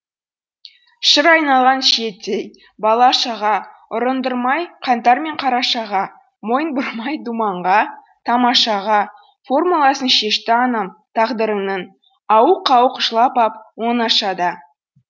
шыр айналған шиеттей бала шаға ұрындырмай қаңтар мен қарашаға мойын бұрмай думанға тамашаға формуласын шешті анам тағдырының ауық ауық жылап ап оңашада